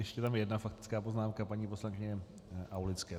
Ještě je tam jedna faktická poznámka paní poslankyně Aulické.